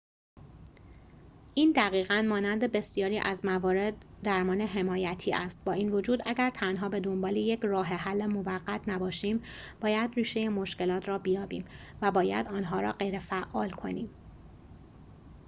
این دقیقاً مانند بسیاری از موارد درمان حمایتی است با این وجود اگر تنها به دنبال یک راه‌حل موقت نباشیم باید ریشه مشکلات را بیابیم و باید آن‌ها را غیرفعال کنیم